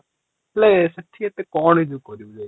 ହେଲେ ସେଠି ଏତେ କ'ଣ ଯେ କରିବୁ ଯାଇକି ?